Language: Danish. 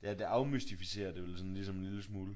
Ja det afmystificerer det jo ligesom en lille smule